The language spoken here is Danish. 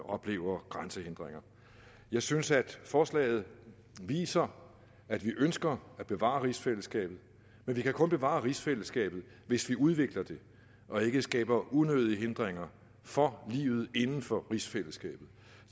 oplever grænsehindringer jeg synes at forslaget viser at vi ønsker at bevare rigsfællesskabet men vi kan kun bevare rigsfællesskabet hvis vi udvikler det og ikke skaber unødige hindringer for livet inden for rigsfællesskabet